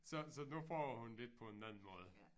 Så så nu prøver hun lidt på en anden måde